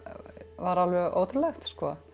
var alveg ótrúlegt